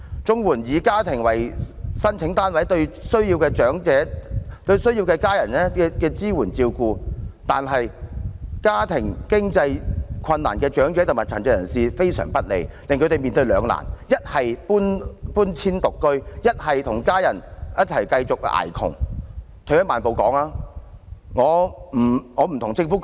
綜援以家庭為申請單位的做法，對需要家人支援照顧但家庭經濟困難的長者及殘疾人士非常不利，令他們面對兩難，一是遷出獨居，一是繼續與家人"捱窮"。